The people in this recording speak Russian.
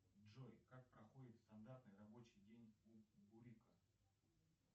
джой как проходит стандартный рабочий день у бурика